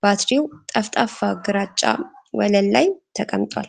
ባትሪው ጠፍጣፋ ግራጫ ወለል ላይ ተቀምጧል::